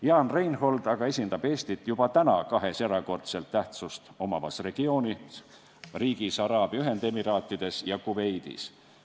Jaan Reinhold esindab aga Eestit juba täna kahes erakordset tähtsust omavas regiooni riigis – Araabia Ühendemiraatides ja Kuveidis.